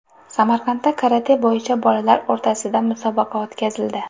Samarqandda karate bo‘yicha bolalar o‘rtasida musobaqa o‘tkazildi .